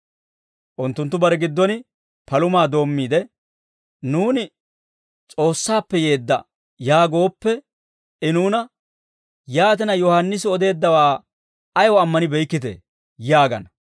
Unttunttu barenttu giddon palumaa doommiide, «Nuuni, ‹S'oossaappe yeedda› yaagooppe, I nuuna, ‹Yaatina, Yohaannisi odeeddawaa ayaw ammanibeykkitee?› yaagana.